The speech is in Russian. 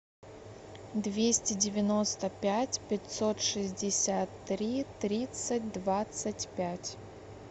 двести девяносто пять пятьсот шестьдесят три тридцать двадцать пять